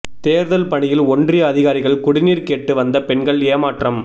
தேர்தல் பணியில் ஒன்றிய அதிகாரிகள் குடிநீர் கேட்டு வந்த பெண்கள் ஏமாற்றம்